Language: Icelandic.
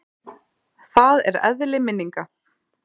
Það er eðli minninga.